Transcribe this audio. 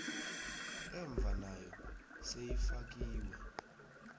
emva nayo seyifakiwe